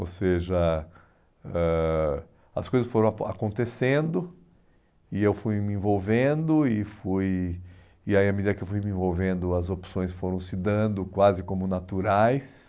Ou seja, ãh as coisas foram acon acontecendo e eu fui me envolvendo e fui e e aí, à medida que eu fui me envolvendo, as opções foram se dando quase como naturais.